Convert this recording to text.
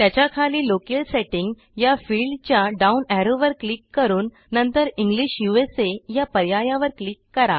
त्याच्या खाली locale setting या फिल्डच्या डाउन एरो वर क्लिक करून नंतरEnglish USAया पर्यायावर क्लिक करा